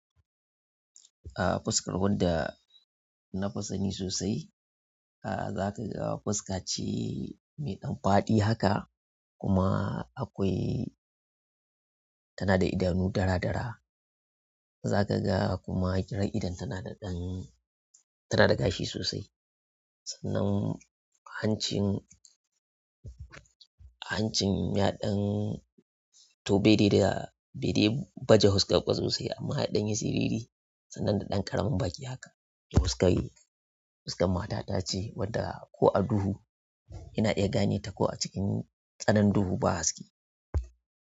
A fuskar wadda nafi sani sosai, za ka ga fuska ce mai ɗan faɗi haka kuma akwai tana da idanu dara-dara. Za ka ga kuma irin idonta na da ɗan tana da gashi sosai. Sannan hancin, hancin ya ɗan toh bede da bede baje fuska ba sosai amma ya ɗanyi siriri sannan dan ƙaramin baki haka fuskar, fuskar mata ta ce wadda ko a duhu ina iya gane ta ko a cikin tsananin duhu ba haske.